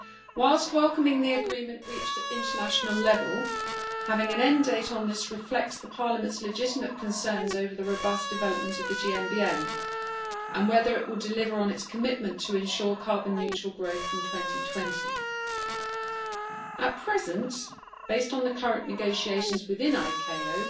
Whilst welcoming the agreement reached at international level, having an end date on this reflects Parliament's legitimate concerns over the robust development of the GMBM and whether it would deliver on its commitment to ensure carbon neutral growth from 2020. At present, based on the current negotiations within ICAO,